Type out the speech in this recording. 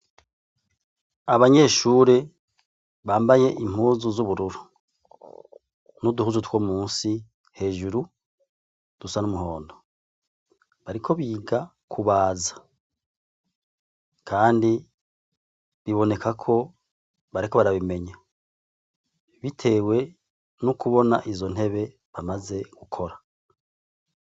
Abanyeshure ,bambaye impuzu z'ubururu , n'uduhuzu two musi hejuru dusa n'umuhondo, bariko biga kubaza, kandi bibonekako bariko barabimenya, bitewe no kubona izo ntebe bamaze gukora.